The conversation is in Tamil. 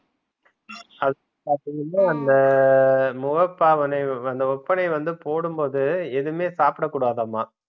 அது வந்து அந்த முகபாவனை வந்து அந்த ஓப்பனை வந்து போடும் போது எதுமே சாப்பிட கூடாதாமா